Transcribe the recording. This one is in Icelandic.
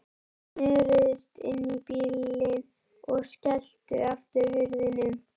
Þeir snöruðust inn í bílinn og skelltu aftur hurðunum.